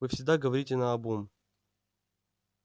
вы всегда говорите наобум